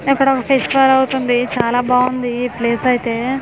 ఎక్కడో ఫెస్టివల్ అవుతుంది చాలా బావుంది ఈ ప్లేస్ అయితే--